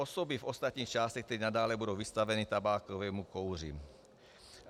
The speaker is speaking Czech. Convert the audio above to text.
Osoby v ostatních částech tedy nadále budou vystaveny tabákovému kouři.